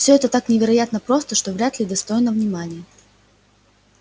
всё это так невероятно просто что вряд ли достойно внимания